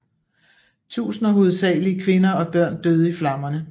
Tusinder hovedsageligt kvinder og børn døde i flammerne